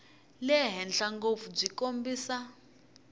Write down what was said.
le henhla ngopfu byi kombisa